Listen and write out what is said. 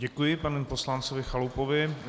Děkuji panu poslanci Chalupovi.